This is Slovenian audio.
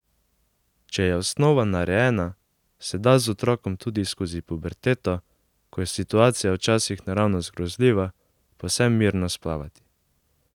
Če je osnova narejena, se da z otrokom tudi skozi puberteto, ko je situacija včasih naravnost grozljiva, povsem mirno splavati.